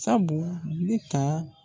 Sabu ne ta